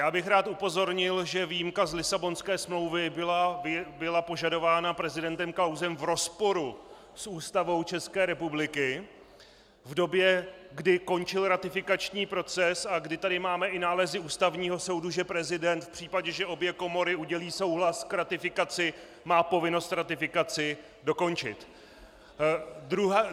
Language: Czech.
Já bych rád upozornil, že výjimka z Lisabonské smlouvy byla požadována prezidentem Klausem v rozporu s Ústavou České republiky v době, kdy končil ratifikační proces a kdy tady máme i nálezy Ústavního soudu, že prezident v případě, že obě komory udělí souhlas k ratifikaci, má povinnost ratifikaci dokončit.